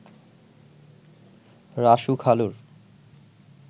Rasu খালুর